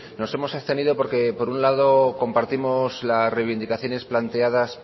nos hemos abstenido porque por un lado compartimos las reivindicaciones planteadas